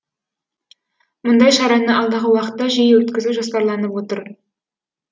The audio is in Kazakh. мұндай шараны алдағы уақытта жиі өткізу жоспарланып отыр